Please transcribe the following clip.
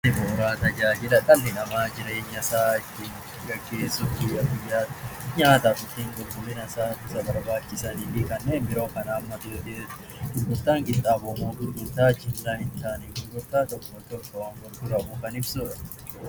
Tajaajilli bu'uuraa tajaajila dhalli namaa jireenya isaa ittiin gaggeessuuf guyyaa guyyaan nyaataafi qulqullina isaaf isa barbaachisanii fi kanneen biroo kan hammatu yommuu ta'u, gurgurtaan qinxaaboo immoo gurgurtaa jilmaa hin taane gurgurtaa tokko tokkoon gaggeeffamu kan ibsudha.